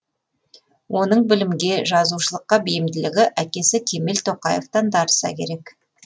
оның білімге жазушылыққа бейімділігі әкесі кемел тоқаевтан дарыса керек